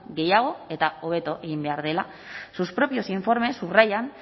gehiago eta hobeto egin behar dela sus propios informes subrayan